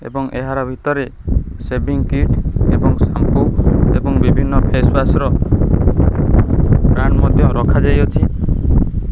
ଏବଂ ଏହାର ଭିତରେ ସେଭିଂ କ୍ରିମ ଏବଂ ଏବଂ ବିଭିନ୍ନ ଫେସୱାସ ର ବ୍ରାଣ୍ଡ ମଧ୍ୟ ରଖାଯାଇଅଛି।